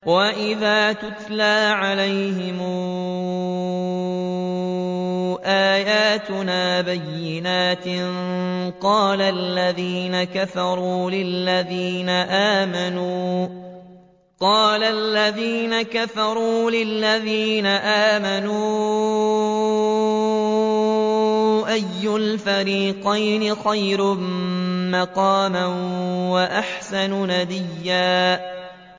وَإِذَا تُتْلَىٰ عَلَيْهِمْ آيَاتُنَا بَيِّنَاتٍ قَالَ الَّذِينَ كَفَرُوا لِلَّذِينَ آمَنُوا أَيُّ الْفَرِيقَيْنِ خَيْرٌ مَّقَامًا وَأَحْسَنُ نَدِيًّا